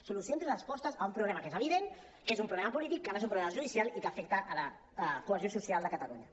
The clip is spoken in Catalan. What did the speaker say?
solucions i respostes a un problema que és evident que és un problema polític que no és un problema judicial i que afecta la cohesió social de catalunya